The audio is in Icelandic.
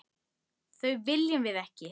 Það viljum við ekki.